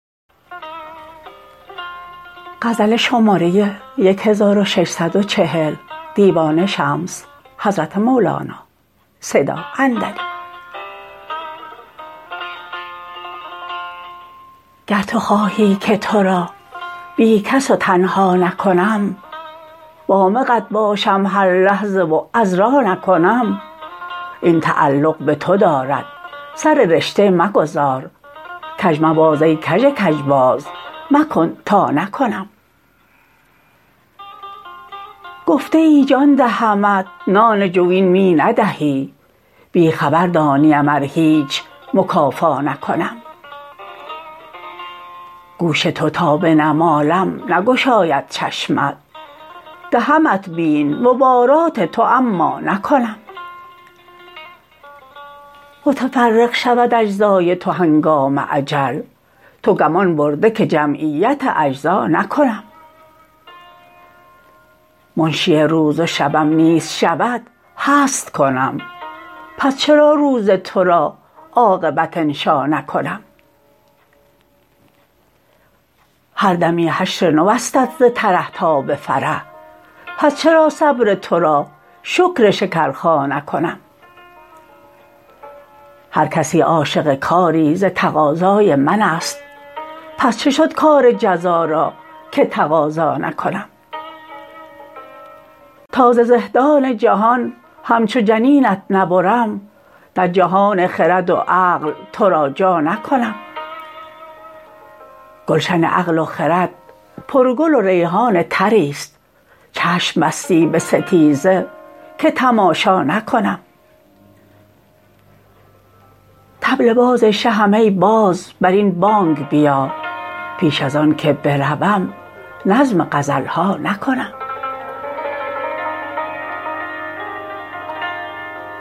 گر تو خواهی که تو را بی کس و تنها نکنم وامقت باشم هر لحظه و عذرا نکنم این تعلق به تو دارد سر رشته مگذار کژ مباز ای کژ کژباز مکن تا نکنم گفته ای جان دهمت نان جوین می ندهی بی خبر دانیم ار هیچ مکافا نکنم گوش تو تا بنمالم نگشاید چشمت دهمت بیم مبارات تو اما نکنم متفرق شود اجزای تو هنگام اجل تو گمان برده که جمعیت اجزا نکنم منشی روز و شبم نیست شود هست کنم پس چرا روز تو را عاقبت انشا نکنم هر دمی حشر نوستت ز ترح تا به فرح پس چرا صبر تو را شکر شکرخا نکنم هر کسی عاشق کاری ز تقاضای من است پس چه شد کار جزا را که تقاضا نکنم تا ز زهدان جهان همچو جنینت نبرم در جهان خرد و عقل تو را جا نکنم گلشن عقل و خرد پرگل و ریحان طری است چشم بستی به ستیزه که تماشا نکنم طبل باز شهم ای باز بر این بانگ بیا پیش از آن که بروم نظم غزل ها نکنم